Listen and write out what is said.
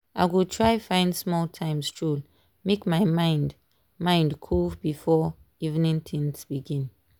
i go try find small time stroll make my mind mind cool before evening things begin.